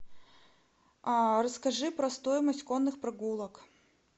расскажи про стоимость конных прогулок